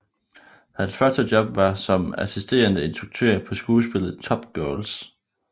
Hans første job var som assisterende instruktør på skuespillet Top Girls